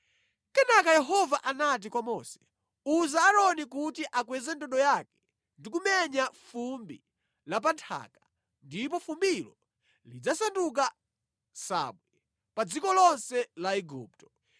Kenaka Yehova anati kwa Mose, “Uza Aaroni kuti akweze ndodo yake ndi kumenya fumbi la pa nthaka, ndipo fumbilo lidzasanduka nsabwe pa dziko lonse la Igupto.”